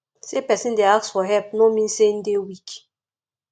sey pesin dey ask for help no mean sey im dey weak